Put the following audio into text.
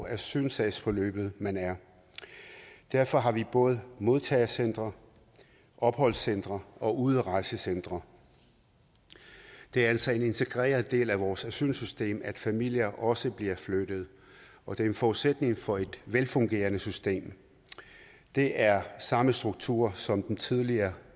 asylsagsforløbet man er derfor har vi både modtagecentre opholdscentre og udrejsecentre det er altså en integreret del af vores asylsystem at familier også bliver flyttet og det er en forudsætning for et velfungerende system det er samme struktur som den tidligere